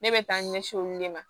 Ne bɛ taa ɲɛsin olu de ma